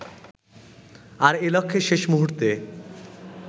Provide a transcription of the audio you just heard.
আর এ-লক্ষ্যে শেষ মুহুর্তে